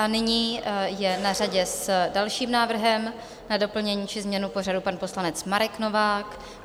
A nyní je na řadě s dalším návrhem na doplnění či změnu pořadu pan poslanec Marek Novák.